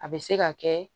A bɛ se ka kɛ